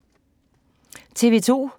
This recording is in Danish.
TV 2